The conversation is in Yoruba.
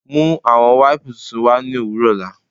Mú awọn wípùú tuntun wa ní owurọ ọ̀la